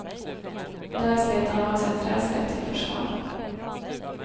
Där slet han åt sig en träslev till försvar.